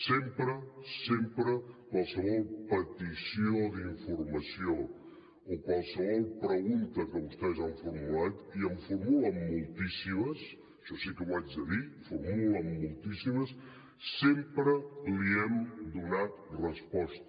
sempre sempre qualsevol petició d’informació o qualsevol pregunta que vostès han formulat i en formulen moltíssimes això sí que ho haig de dir en formulen moltíssimes sempre li hem donat resposta